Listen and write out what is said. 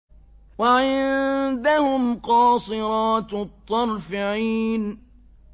وَعِندَهُمْ قَاصِرَاتُ الطَّرْفِ عِينٌ